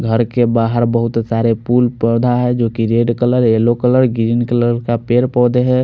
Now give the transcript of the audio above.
घर के बहार बोहोत सारे पुल पोधा है जो की red colour yellow green colour का पेड़ पोधे है।